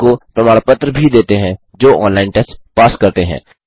उनको प्रमाण पत्र भी देते हैं जो ऑनलाइन टेस्ट पास करते हैं